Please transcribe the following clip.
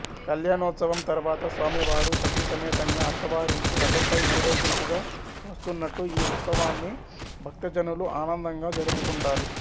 కళ్యాణోత్సవం తరువాత స్వామి వారు సతీ సమేతంగా అత్తవారింటికి రథంపై ఊరేగింపుగా వస్తున్నట్టు ఈ ఉత్సవాన్ని భక్తజనులు ఆనందంగా జరుపుకుంటారు